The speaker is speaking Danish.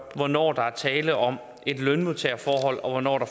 hvornår der er tale om et lønmodtagerforhold og hvornår der